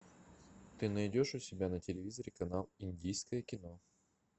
ты найдешь у себя на телевизоре канал индийское кино